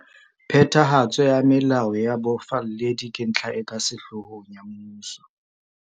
Phethahatso ya melao ya bofalledi ke ntlha e ka sehloohong ya mmuso.